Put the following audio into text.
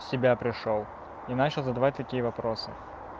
в себя пришёл и начал задавать такие вопросы